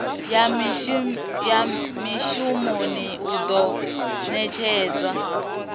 ya mishumoni u do netshedzwa